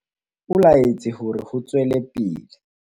o laetse hore ho tswelwe pele